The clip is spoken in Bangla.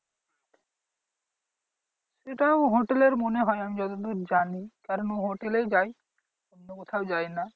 হোটেলের মনে হয় আমি যতদূর জানি কারণ ও হোটেলেই যায় অন্য কোথাও যায় না।